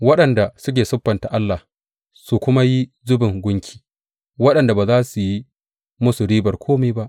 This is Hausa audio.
Waɗanda suke siffanta allah su kuma yi zubin gunki, waɗanda ba za su yi musu ribar kome ba?